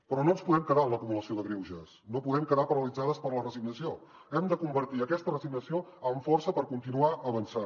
però no ens podem quedar en l’acumulació de greuges no podem quedar paralitzades per la resignació hem de convertir aquesta resignació en força per continuar avançant